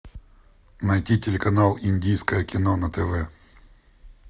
найти телеканал индийское кино на тв